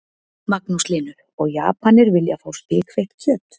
Magnús Hlynur: Og Japanir vilja fá spikfeitt kjöt?